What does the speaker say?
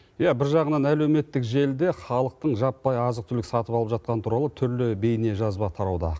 иә бір жағынан әлеуметтік желіде халықтың жаппай азық түлік сатып алып жатқаны туралы түрлі бейнежазба тарауда